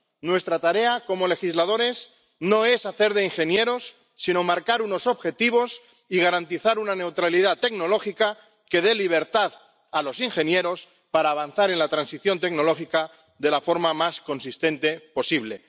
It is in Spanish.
Nuestra tarea como legisladores no es hacer de ingenieros sino marcar unos objetivos y garantizar una neutralidad tecnológica que dé libertad a los ingenieros para avanzar en la transición tecnológica de la forma más coherente posible.